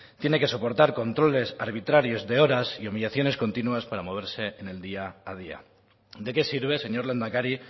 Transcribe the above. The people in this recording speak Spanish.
tienen que soportar controles arbitrarios de horas y humillaciones continuas para moverse en el día a día de qué sirve señor lehendakari